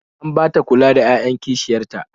An ba ta kula da 'ya'yan kishiyar ta